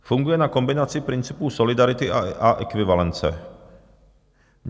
Funguje na kombinaci principů solidarity a ekvivalence.